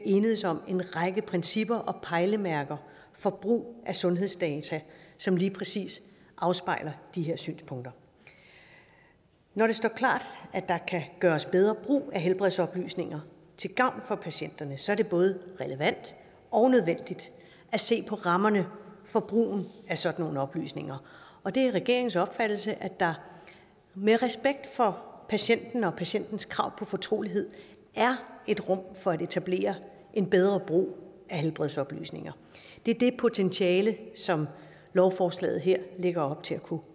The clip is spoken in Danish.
enedes om en række principper og pejlemærker for brug af sundhedsdata som lige præcis afspejler de her synspunkter når det står klart at der kan gøres bedre brug af helbredsoplysninger til gavn for patienterne så er det både relevant og nødvendigt at se på rammerne for brugen af sådan nogle oplysninger og det er regeringens opfattelse at der med respekt for patienten og patientens krav på fortrolighed er et rum for at etablere en bedre brug af helbredsoplysninger det er det potentiale som lovforslaget her lægger op til at kunne